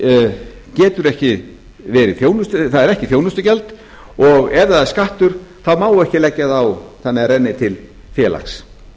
þeir séu ekki félagar er ekki þjónustugjald og ef það er skattur þá má ekki leggja það á þannig að það renni til félags